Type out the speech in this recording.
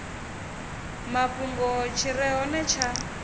mafhungo tshi re hone tsha